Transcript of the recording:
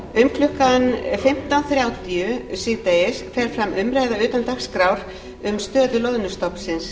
um klukkan fimmtán þrjátíu síðdegis fer fram umræða utan dagskrár um stöðu loðnustofnsins